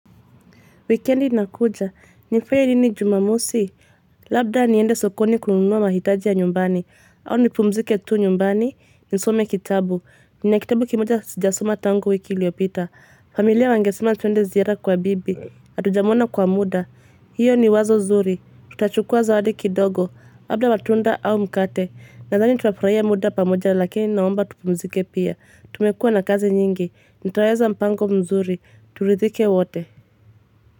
Wikendi inakuja, nifanye nini jumamosi, labda niende sokoni kununua mahitaji ya nyumbani, au nipumzike tu nyumbani, nisome kitabu, nina kitabu kimoja sijasoma tangu wiki iliyopita, familia wangesema tuende ziara kwa bibi, hatujamona kwa mda, hiyo ni wazo zuri, tutachukua zawadi kidogo, labda matunda au mkate, nadhani tutafurahia mda pamoja lakini naomba tupumzike pia, tumekua na kazi nyingi, nitaweza mpango mzuri, turidhike wote.